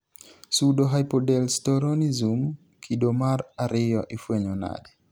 pseudohypoaldosteronism kido mar ariyo ifwenyo nade?